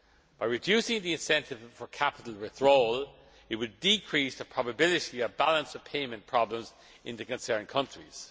By reducing the incentive for capital withdrawal, it would decrease the probability of balance of payments problems in the concerned countries.